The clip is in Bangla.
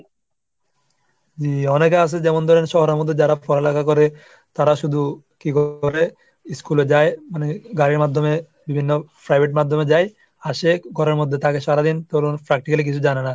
অনেকে আছে যেমন ধরেন শহরের মধ্যে যারা পড়ালেখা করে তারা শুধু কি করে? school এ যায় মানে গাড়ির মাধ্যমে বিভিন্ন private মাধ্যমে যাই আসে ঘরের মধ্যে থাকে সারাদিন ধরুন practically কিছু জানে না।